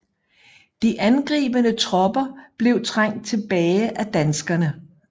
De angribende tropper blev trængt tilbage af danskerne